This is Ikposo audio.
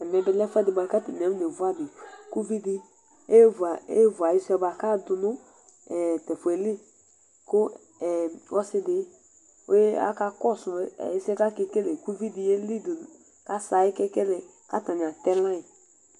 Ɛmɛ bilɛ ɛfʋɛdi kʋ atank akɔ nevʋ adi Kʋ ʋvidi evʋ ayisʋe bʋa kʋ adʋnʋ tɛfʋeli kʋ ɔsidi akakɔsʋ ɛsɛ kʋ akekele kʋ ʋvidi yeli kʋ asɛ ayʋ kekelɛ kʋ atani atɛ layi